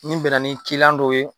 Nin bɛnna ni ciliyan dɔw ye